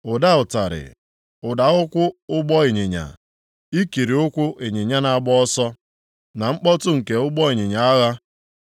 Ụda ụtarị, ụda ụkwụ ụgbọ ịnyịnya, ikiri ụkwụ ịnyịnya na-agba ọsọ, na mkpọtụ nke ụgbọ ịnyịnya agha!